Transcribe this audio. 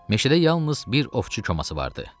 Meşədə yalnız bir ovçu koması vardı.